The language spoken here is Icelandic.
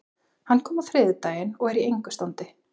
Hann kom á þriðjudaginn og er í engu standi.